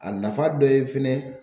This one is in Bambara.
A nafa dɔ ye fɛnɛ.